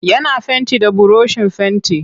Yana fenti da burushin fenti.